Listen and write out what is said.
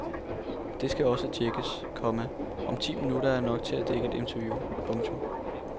Det skal også tjekkes, komma om ti minutter er nok til et interview. punktum